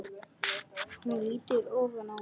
Hún lýtur ofan að mér.